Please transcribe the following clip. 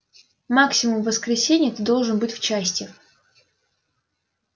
максимум в воскресенье ты должен быть в части